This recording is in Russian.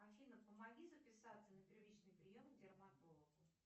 афина помоги записаться на первичный прием к дерматологу